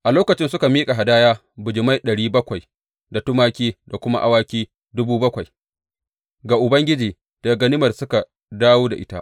A lokacin suka miƙa hadaya bijimai ɗari bakwai da tumaki da kuma awaki dubu bakwai ga Ubangiji daga ganimar da suka dawo da ita.